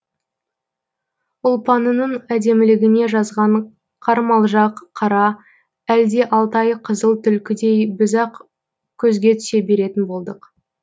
ұлпанының әдемілігіне жазған қармалжақ қара әлде алтайы қызыл түлкідей біз ақ көзге түсе беретін болдық